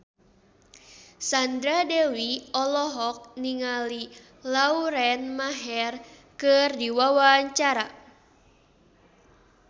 Sandra Dewi olohok ningali Lauren Maher keur diwawancara